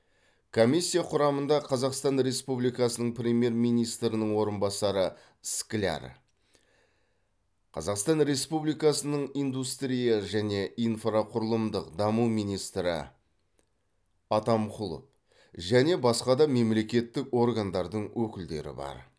комиссия құрамында қазақстан республикасының премьер министрінің орынбасары скляр қазақстан республикасының индустрия және инфрақұрылымдық даму министрі атамқұлов және басқа да мемлекеттік органдардың өкілдері бар